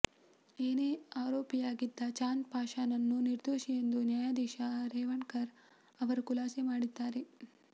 ಏನೇ ಆರೋಪಿಯಾಗಿದ್ದ ಚಾಂದ್ ಪಾಷಾನನ್ನು ನಿರ್ದೋಷಿ ಎಂದು ನ್ಯಾಯಾಧೀಶ ರೇವಣಕರ್ ಅವರು ಖುಲಾಸೆ ಮಾಡಿದ್ದಾರೆ